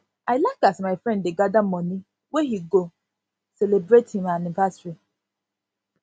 i like as my friend dey gather money wey he go celebrate him anniversary